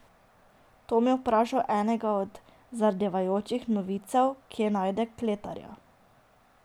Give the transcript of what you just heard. Tom je vprašal enega od zardevajočih novicev, kje najde kletarja.